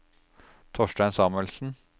Torstein Samuelsen